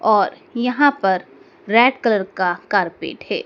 और यहां पर रेड कलर का कारपेट है।